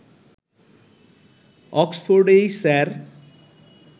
অক্সফোর্ডেই sir